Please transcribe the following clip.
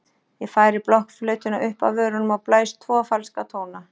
Ég færi blokkflautuna upp að vörunum og blæs tvo falska tóna.